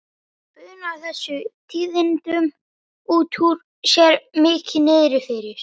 Hún bunar þessum tíðindum út úr sér, mikið niðri fyrir.